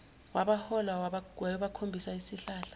wabahola wayobakhombisa isihlahla